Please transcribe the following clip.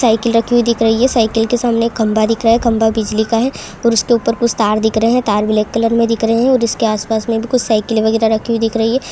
Cycle रखे हुए दिख रही है साइकिल के सामने खंबा दिख रहा है खंबा बिजली का है और उसके ऊपर कुछ तार दिख रहे है तार ब्लैक कलर में दिख रहे है और इसके आस-पास में भी कुछ साइकिल वगैरह दिख रही है।